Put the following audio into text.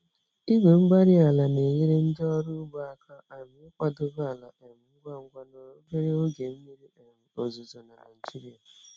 Igwe-mgbárí-ala na-enyere ndị ọrụ ugbo aka um ịkwadebe ala um ngwa ngwa n'obere oge mmiri um ozuzo na Nigeria.